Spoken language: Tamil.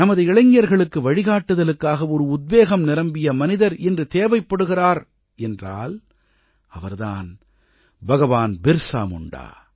நமது இளைஞர்களுக்கு வழிகாட்டுதலுக்காக ஒரு உத்வேகம் நிரம்பிய மனிதர் இன்று தேவைப்படுகிறார் என்றால் அவர் தான் பகவான் பிர்ஸா முண்டா